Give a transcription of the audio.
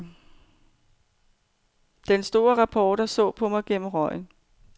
Den store reporter så på mig gennem røgen.